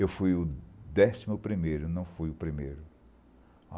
Eu fui o décimo primeiro, não fui o primeiro.